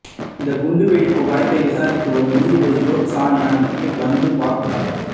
இந்த குண்டு வெடிப்பு வழக்கை விசாரித்து வரும் நீதிபதி ஜோத்சான யாக்னிக்கும் வந்து பார்த்தார்